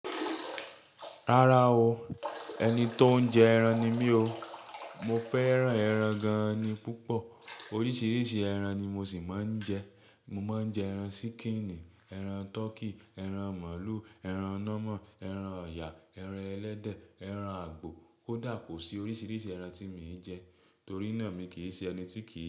Rárá o, ẹni tó ń jẹ ẹran ni mí o. Mo fẹ́ran ẹran gan-an ni púpọ̀. Oríṣiríṣi ẹran ni mo sì máa ń jẹ. Mo máa ń jẹ ẹran ṣíkìnnì, ẹran tọkí, ẹran màlúù, ẹran ọ̀nà mó, ẹran ọ̀yà, ẹran ẹlẹ́dẹ, ẹran àgbò. Koda kosí oríṣiríṣi ẹran tí mii n jẹ torí náà mi kì í ṣe ẹni tíkì.